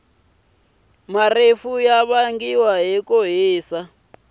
marefu yavangiwa hhikuhhisa swinene